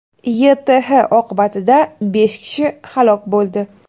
YTH oqibatida besh kishi halok bo‘ldi.